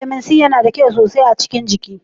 Vitamin C yana da kyau sosai a cikin jiki.